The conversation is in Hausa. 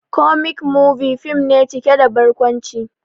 "Comic movie" fim ne cike da barkwanci